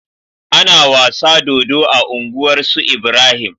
Ana wasa dodo a unguwar su Ibrahim